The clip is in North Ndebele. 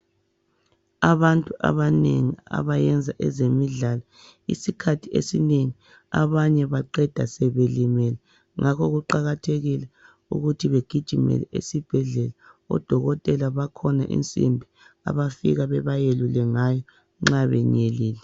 Abantu abanengi abayenza ezemidlalo isikhathi esinengi abanye baqeda sebelimele ngakho kuqakathekile ukuthi begijimele esibhedlela. Odokotela bakhona insimbi abafike bebayelule ngayo nxa benyelile